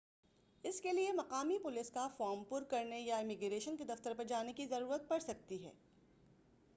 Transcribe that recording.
اس کے لیے مقامی پولیس کا فارم پُر کرنے یا امیگریشن کے دفتر پر جانے کی ضرورت پڑ سکتی ہے